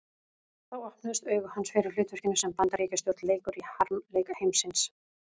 Þá opnuðust augu hans fyrir hlutverkinu sem Bandaríkjastjórn leikur í harmleik heimsins.